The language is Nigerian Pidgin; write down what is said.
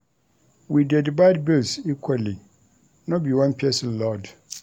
We dey divide bills equally, no be one pesin load.